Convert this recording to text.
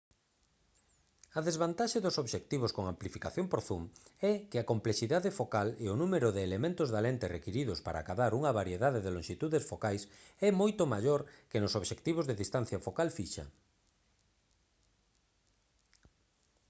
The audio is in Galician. a desvantaxe dos obxectivos con amplificación por zoom é que a complexidade focal e o número de elementos da lente requiridos para acadar unha variedade de lonxitudes focais é moito maior que nos obxectivos de distancia focal fixa